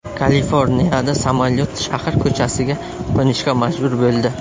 Kaliforniyada samolyot shahar ko‘chasiga qo‘nishga majbur bo‘ldi.